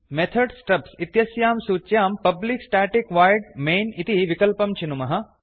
method stubs इत्यस्यां सूच्यां public static void main इति विकल्पं चिनुमः